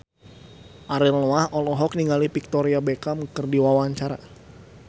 Ariel Noah olohok ningali Victoria Beckham keur diwawancara